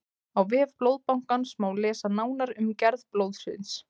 á vef blóðbankans má lesa nánar um gerð blóðsins